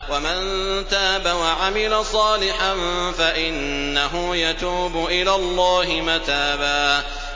وَمَن تَابَ وَعَمِلَ صَالِحًا فَإِنَّهُ يَتُوبُ إِلَى اللَّهِ مَتَابًا